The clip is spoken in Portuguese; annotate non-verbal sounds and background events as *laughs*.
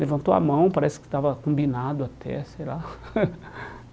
Levantou a mão, parece que estava combinado até, sei lá. *laughs*